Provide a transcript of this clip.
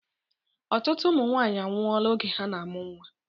Ọtụtụ ụmụ nwanyị anwụọla oge ha na-amụ nnwa